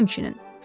Sizdə həmçinin.